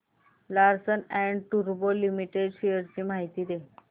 Larsen and टुर्बो limited shares ची माहिती दे